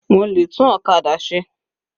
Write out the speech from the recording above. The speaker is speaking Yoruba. Mo lè tún ọ̀kadà ṣe.